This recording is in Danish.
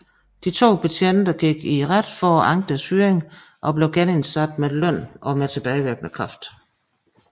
De to betjente gik i retten for at anke deres fyring og blev genindsat med løn og tilbagevirkende kraft